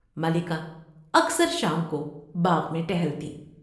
ملکہ اکثر شام کو باغ میں ٹہلتی